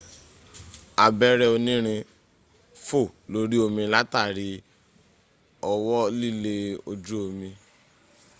abẹ́rẹ́ onírin fò lórí omi látàrí ọwọ́ lílé ojú omi